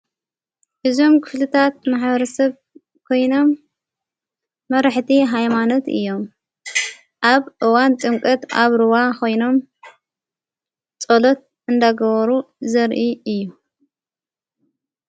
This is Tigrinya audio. እዞም ክፍልታት ማሕበረሰብ ኮይኖም መርሕቲ ኃይማኖት እዮም ኣብ እዋን ጥምቅት ኣብ ርዋ ኾይኖም ጸሎት እንደገበሩ ዘርኢ እዩ።